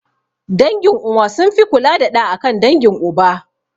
Dangin uwa sun fi kula da ɗa akan dangin uba